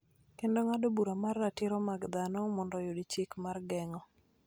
kendo ng�ado bura mar Ratiro mag Dhano mondo oyud chik mar geng�o.